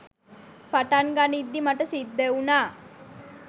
පටන් ගනිද්දි මට සිද්ධ වුණා